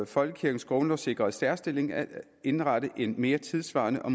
folkekirkens grundlovssikrede særstilling at indrette en mere tidssvarende og